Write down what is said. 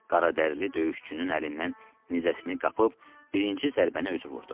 Qaradərili döyüşçünün əlindən nizəsini qapıb birinci zərbəni özü vurdu.